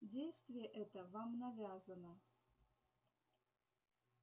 действие это вам навязано